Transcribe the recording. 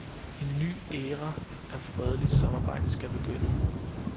En ny æra af fredeligt samarbejde skal begynde.